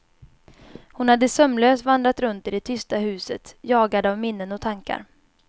Hon hade sömnlös vandrat runt i det tysta huset, jagad av minnen och tankar.